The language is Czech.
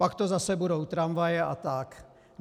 Pak to zase budou tramvaje a tak.